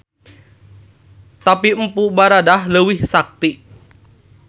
Tapi Mpu Baradah leuwih sakti.